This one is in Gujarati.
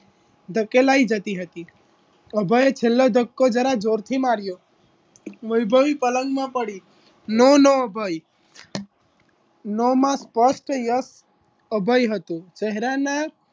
ધકેલાઈ જતી હતી અભય છેલ્લે ધક્કો જરા જોરથી માર્યો વૈભવી પલંગમાં પડી no no અભય no માં સ્પષ્ટ yes અભય હતો ચહેરાના